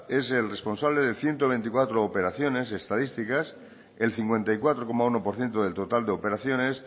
es el responsable de ciento veinticuatro operaciones estadísticas el cincuenta y cuatro coma uno por ciento del total de operaciones